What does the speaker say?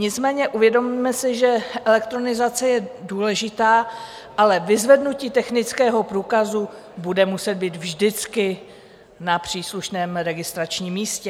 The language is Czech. Nicméně uvědomme si, že elektronizace je důležitá, ale vyzvednutí technického průkazu bude muset být vždycky na příslušném registračním místě.